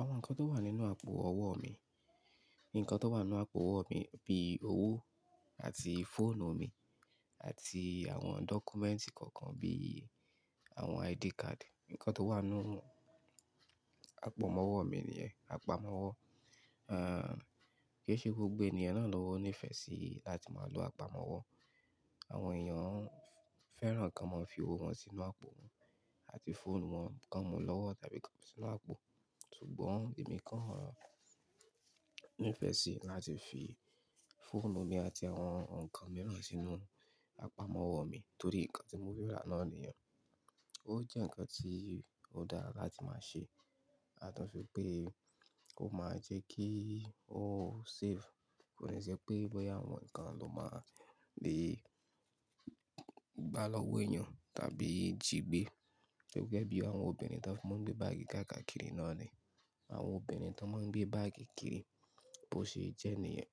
Àwọn nǹkan tó wà nínú àpò ọwọ́ mi, nǹkan tó wà nínú àpò ọwọ́ mi bíi owó àti fóònù mi àti àwọn documents kọ̀ọ̀kan bí i àwọn ID card. Nǹkan tó wà nínú àpọ̀mọ́wọ́ mi nìyẹn, àpamọ́wọ́. Àń, kí i ṣe gbogbo ènìyàn náà ló ní ìfẹ́ sí láti máa lo àpamọ́wọ́. Àwọn èèyàn fẹ́ràn kí wọ́n máa fi owó wọn sínú àpò àti fóònù wọn, kan wọ́n lọ́wọ́ tàbí kan wọ́n sínú àpò. Ṣùgbọ́n èmi kàn ní ìfẹ́ sí láti fi fóònù mi àti àwọn nǹkan mìíràn sínú àpamọ́wọ́ mi torí nǹkan tí mo rí rà náà nìyẹn. Ó jẹ́ nǹkan tí ó dára láti máa ṣe, ya to si pé ó máa jẹ́ kí ó safe. Kò n ṣe pé bóyá àwọn nǹkan ló máa le gbá lọ́wọ́ èèyàn tàbí tìgbé. Gẹ́gẹ́ bí àwọn obìnrin tó máa ń gbé báàgì káàkiri náà ni, àwọn obìnrin tó máa ń gbé báàgì kiri bó ṣe jẹ́ nìyẹn.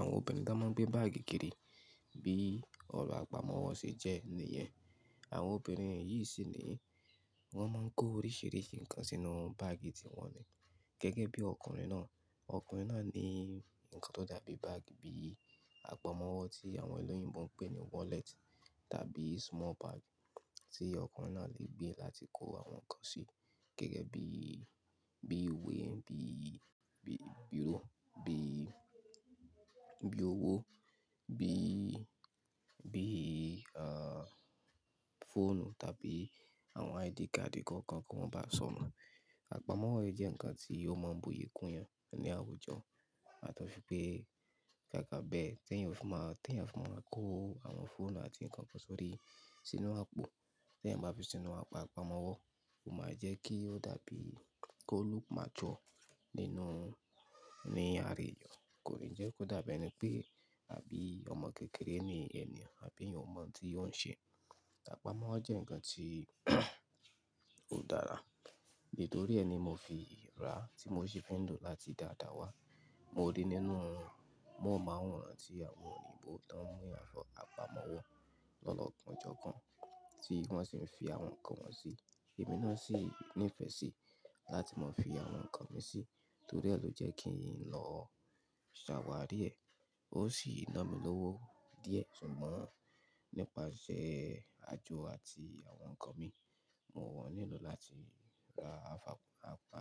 Àwọn obìnrin tó máa ń gbé báàgì kiri bíi ọ̀rọ̀ àpamọ́wọ́ ṣe jẹ́ nìyẹn. Àwọn obìnrin yìí sì ni wọ́n máa ń kó oríṣìíríṣìí nǹkan sínú báàgì tiwọn ni. Gẹ́gẹ́ bí ọkùnrin náà, ọkùnrin náà ní nǹkan tó dàbí báàgì bíi àpamọ́wọ́ tí àwọn ẹlẹ́yìnbo ń pè ní wallet tàbí small bag tí ọkùnrin náà lè gbé láti kó àwọn nǹkan sí. Gẹ́gẹ́ bí, bí i ìwé, bí i, bí i biro, bí i, bí i owó, bí i, bí i, àń, fóònù tàbí àwọn ID card kọ̀ọ̀kan kí wọ́n mo bá sọ́nu. Àpamọ́wọ́ jẹ́ nǹkan tí ó máa ń bu iyì kún yàn ní àwùjọ, yàtọ̀si pé ká kà bẹ́ẹ̀ tí èèyàn bá fẹ́ máa, tí èèyàn bá fẹ́ máa kó àwọn fóònù àti nǹkan kan sórí sínú àpò. Tí èèyàn bá fi sínú àpamọ́wọ́, ó máa jẹ́ kí ó dàbí kó look mature nínú, ní ààra èèyàn. Kò lẹ je kó dàbí ẹni pé àbí ọmọ kékeré ni èèyàn àbí èèyàn ò mọ̀ tí ó ń ṣe. Àpamọ́wọ́ jẹ́ nǹkan tí ó dára. Nítorí ẹ ni mo fi rà tí mo sì fin lò láti dàda wá. Mo rí nínú wọn, mo mo awọ̀n onà ti àwọn òyinbo tó ń mú àpamọ́wọ́ lọ́wọ́ ọkọ̀ ojú ọkọ̀ tí wọ́n sì ń fi àwọn nǹkan wọn sí. Èmi náà sì ní ìfẹ́ sí láti máa fi àwọn nǹkan mi sí, torí ẹ ló jẹ́ kí n lọ ṣàwárí ẹ̀. Ó sì ná mi lówó díẹ̀ ṣùgbọ́n nípasẹ̀ àjò àti àwọn nǹkan mi, mo wọ́n nílò láti ra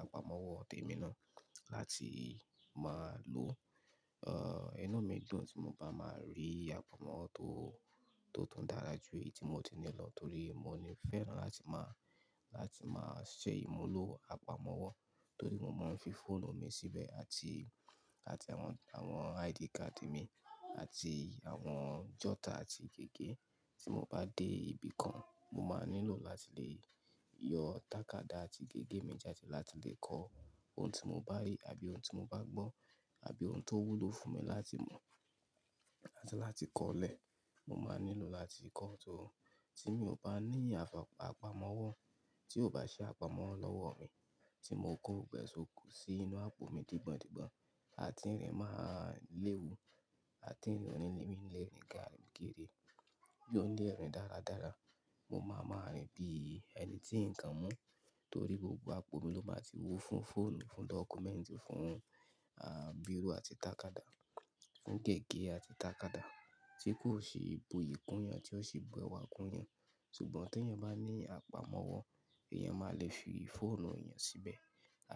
àpamọ́wọ́ tí emi náà láti máa lò. Àń, iná mi dùn tí mo bá máa rí àpamọ́wọ́ tó, tó tún dára jù èyí tí mo ti ní lọ torí mo ní ìfẹ́ lá tí máa, láti máa ṣe ìmúlò àpamọ́wọ́ torí mo máa ń fi fóònù mi síbẹ̀ àti, àti àwọn, àwọn ID card mi àti àwọn jotter àti gègé tí mo bá dé ibì kan, mo máa nílò láti lè yọ tàkádá àti gègé mi jáde láti lè kọ ohun tí mo bá rí àbí ohun tí mo bá gbọ́ àbí ohun tó wúlò fún mi láti mọ̀ àti láti kọ́ ọ́ lẹ̀. Mo máa nílò láti kọ́ ọ́ tó. Tí mi ò bá ní àpamọ́wọ́ tí ò bá ṣe àpamọ́wọ́ lọ́wọ́ mi tí mo kó gbogbo ẹ́ ṣi òkú sínú àpò mi dìgbọ̀ndìgbọ̀n àti ìrìn máa léwu àti ìrònú mi lè rìn káàkiri ló ní ẹ̀rìn dáradára. Mo máa máa rìn bí ẹni tí nǹkan mú torí gbogbo àpò mi ló máa ti wú fún fóònù, fún dọ́kúmẹ̀ǹtì, fún, àń, biro àti tàkádá, fún gègé àti tàkádá tí kò ṣi ìbuyì kún yàn tí ó sì bu ewa kún yàn. Ṣùgbọ́n tí èèyàn bá ní àpamọ́wọ́, èèyàn máa lè fi fóònù èèyàn síbẹ̀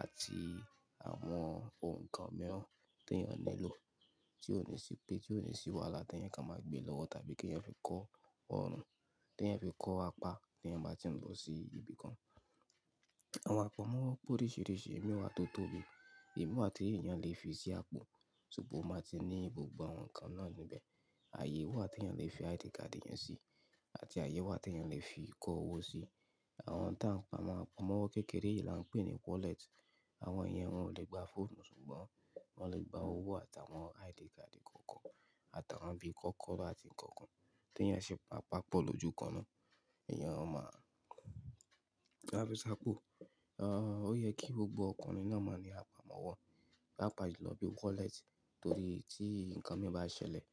àti àwọn ohun kan mìíràn tí èèyàn nílò tí ó ní ṣi pé, tí ó ní sí wàhálà tí èèyàn ka máa gbé lọ́wọ́ tàbí kí èèyàn fi kó ọrùn, tí èèyàn fi kó apá tí èèyàn bá ti ń lọ sí ibì kan. Àwọn àpamọ́wọ́ pé oríṣìíríṣìí, ìmi wà tó tóbi, ìmi wà tí èèyàn lè fi sí àpò ṣùgbọ́n ó máa ti ní gbogbo àwọn nǹkan náà níbẹ̀. Àyè wà tí èèyàn lè fi ID card èèyàn sí àti àyè wà tí èèyàn lè fi kó owó sí. Àwọn tá ń pa àpamọ́wọ́ kékeré yìí là ń pè ní wallet. Àwọn èèyàn wọn ò lè gba fóònù ṣùgbọ́n wọ́n lè gba owó àtàwọn ID card kọ̀ọ̀kan àtàwọn bí i kọ́kọ́ọ̀bà àti nǹkan kan. Tí èèyàn ṣe bá pa pọ̀ lójú kan náà, èèyàn ó máa ń gba bí i sàpò. Àń, ó yẹ kí gbogbo ọkùnrin náà máa ní àpamọ́wọ́ pápà ju lọ bí i wallet torí tí nǹkan mi bá ṣẹlẹ̀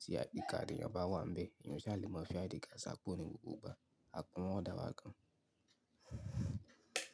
tí ID card èèyàn bá wà níbẹ̀, èèyàn o sá lè mọ̀ fi ID card ṣi àpò ní gbogbo ìgbà. Àpamọ́wọ́ dàra gan.